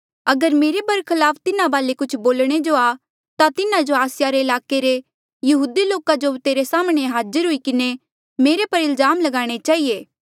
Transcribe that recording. अगर मेरे बरखलाफ तिन्हा वाले कुछ बोलणे जो आ ता तिन्हा आसिया रे ईलाके रे यहूदी लोको जो तेरे साम्हणें हाज़र हुई किन्हें मुंजो पर इल्जाम लगाणे चहिए